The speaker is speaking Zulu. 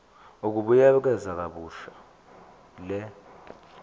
ukubuyekeza kabusha le